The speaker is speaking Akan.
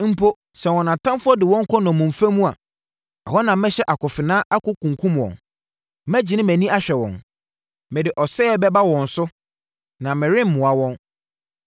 Mpo, sɛ wɔn atamfoɔ de wɔn kɔ nnommumfa mu a, ɛhɔ na mɛhyɛ akofena akunkum wɔn. “Mɛgyene mʼani ahwɛ wɔn. Mede ɔsɛeɛ bɛba wɔn so na meremmoa wɔn.”